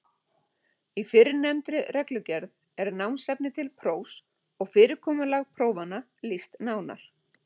Í fyrrnefndri reglugerð er námsefni til prófs og fyrirkomulagi prófanna lýst nánar.